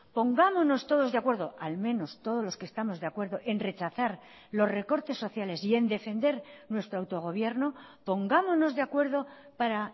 pongámonos todos de acuerdo al menos todos los que estamos de acuerdo en rechazar los recortes sociales y en defender nuestro autogobierno pongámonos de acuerdo para